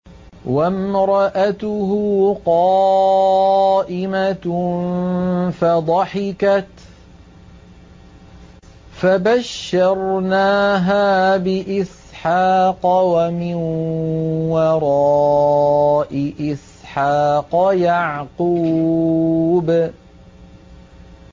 وَامْرَأَتُهُ قَائِمَةٌ فَضَحِكَتْ فَبَشَّرْنَاهَا بِإِسْحَاقَ وَمِن وَرَاءِ إِسْحَاقَ يَعْقُوبَ